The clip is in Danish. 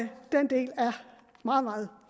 meget meget